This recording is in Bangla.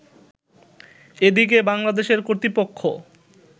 এদিকে বাংলাদেশের কর্তৃপক্ষ